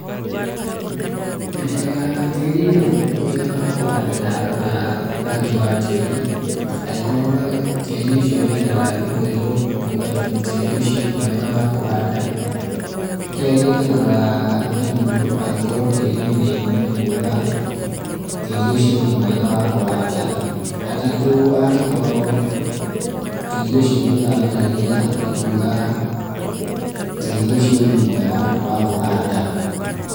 Menyaga tĩĩri nĩ mũnoru kũigana wa kũhanda ndarora rangi wa tĩĩri, angĩkorũo tĩĩri ũcio wĩ na rangi mũirũ nĩ kuuga tĩĩri ũcio nĩ mwega wa kũhanda. Kerĩ ngarora igunyũ, angĩkorũo tíĩri wĩ na igunyũ nĩ kuuga tĩĩri ũcio nĩ mwega wa kũhanda. Gatatũ angĩkorũo tĩĩri ũcio nĩ ũramera ria nĩ kuuga tĩĩri ũcio nĩ mwega wa kũhanda.